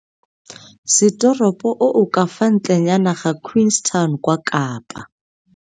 Setoropo o o ka fa ntlenyana ga Queenstown kwa Kapa.